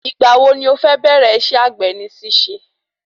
Ìgbà wo ni o fẹ́ bẹ̀rẹ isẹ́ àgbè ní ṣíṣe?